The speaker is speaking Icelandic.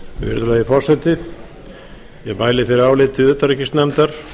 virðulegi forseti ég mæli fyrir áliti utanríkisnefndar